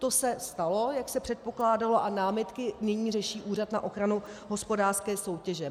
To se stalo, jak se předpokládalo, a námitky nyní řeší Úřad na ochranu hospodářské soutěže.